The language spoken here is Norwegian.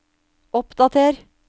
oppdater